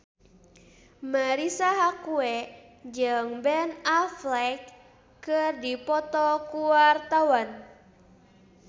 Marisa Haque jeung Ben Affleck keur dipoto ku wartawan